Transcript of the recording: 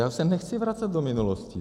Já se nechci vracet do minulosti.